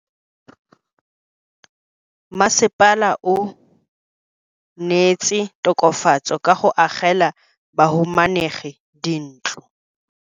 Mmasepala o neetse tokafatsô ka go agela bahumanegi dintlo.